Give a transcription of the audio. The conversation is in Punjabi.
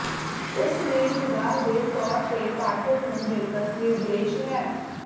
ਉਸ ਦੀ ਨਿਗਾਹ ਦੇ ਤੌਰ ਤੇ ਪਾਠਕ ਨੂੰ ਜੇਕਰ ਨਿਰਦੇਸ਼ ਹੈ